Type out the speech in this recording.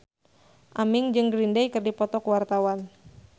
Aming jeung Green Day keur dipoto ku wartawan